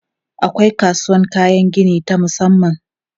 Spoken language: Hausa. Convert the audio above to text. Akwai kasuwan kayan gini ta musamman.